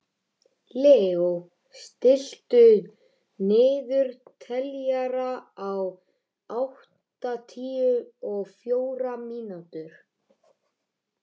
Leó, stilltu niðurteljara á áttatíu og fjórar mínútur.